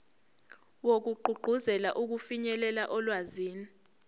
wokugqugquzela ukufinyelela olwazini